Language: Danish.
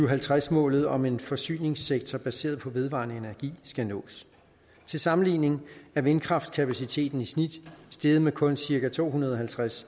og halvtreds målet om en forsyningssektor baseret på vedvarende energi skal nås til sammenligning er vindkraftskapaciteten i snit steget med kun cirka to hundrede og halvtreds